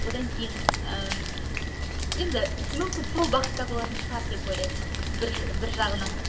одан кейін ыыы енді мүмкін сол бағытта болатын шығар деп ойлаймын бір жағынан